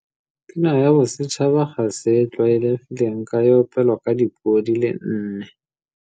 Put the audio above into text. Pina ya Bosetšhaba Pina ya Bosetšhaba ga se e tlwaelegileng ka e opelwa ka dipuo di le nne.